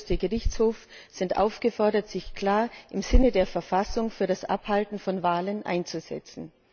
der Oberste Gerichtshof, sind aufgefordert, sich klar im Sinne der Verfassung für das Abhalten von Wahlen einzusetzen.